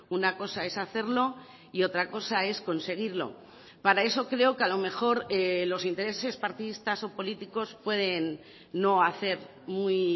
una cosa es hacerlo y otra cosa es conseguirlo para eso creo que a lo mejor los intereses partidistas o políticos pueden no hacer muy